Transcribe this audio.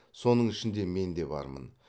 соның ішінде мен де бармын